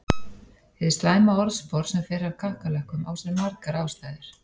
Hið slæma orðspor sem fer af kakkalökkum á sér margar ástæður.